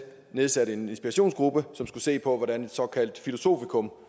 nedsatte en inspirationsgruppe som skulle se på hvordan et såkaldt filosofikum